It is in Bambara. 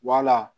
Wala